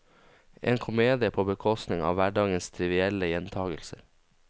En komedie på bekostning av hverdagens trivielle gjentakelser.